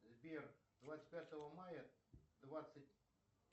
сбер двадцать пятого мая двадцать